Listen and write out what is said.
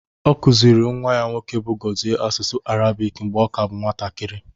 Ọ kụziere nwa ya nwoke bụ Gozie asụsụ Arabic mgbe ọ ka bụ nwatakiri